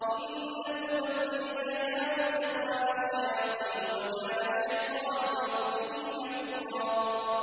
إِنَّ الْمُبَذِّرِينَ كَانُوا إِخْوَانَ الشَّيَاطِينِ ۖ وَكَانَ الشَّيْطَانُ لِرَبِّهِ كَفُورًا